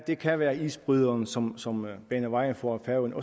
det kan være isbryderen som som baner vejen for at